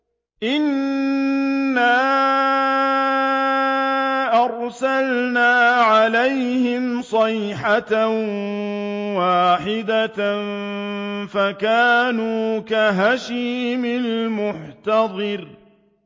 إِنَّا أَرْسَلْنَا عَلَيْهِمْ صَيْحَةً وَاحِدَةً فَكَانُوا كَهَشِيمِ الْمُحْتَظِرِ